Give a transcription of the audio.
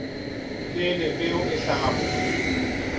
pele peo e hlaha mobung